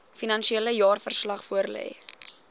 finansiële jaarverslag voorlê